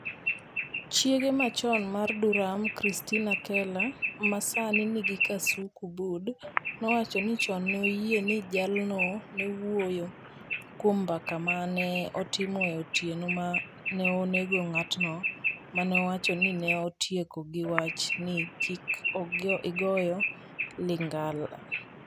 Chiege machon mar Duram, Christina Keller, ma sani nigi Kasuku Bud, nowacho ni chon ne oyie ni jalno newuoyo kuom mbaka ma ne otimo e otieno ma ne onego ng'atno ma ne owacho ni ne otieko gi wach ni "kik igoyo ligangla".